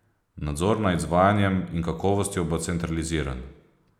Nadzor nad izvajanjem in kakovostjo bo centraliziran.